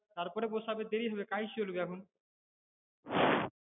তারপরে বসাবে দেরি হবে কাজ চলবে এখন